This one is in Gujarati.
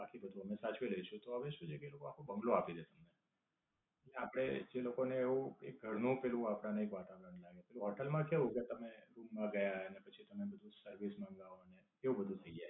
બાકી બધું અમે સાચવી લઈશું તો હવે શું છે કે એ લોકો આખો બઁગલો આપી દેય છે તમને. આપડે જે લોકો ને એવું કઈ ઘર નું પેલું આપડા ને પાટડા નઈ. પેલું હોટેલ માં કેવું કે તમે રૂમ માં ગયા ને પછી તમ બધું સર્વિસ મંગાવો ને એવું બધું થઈ જાય.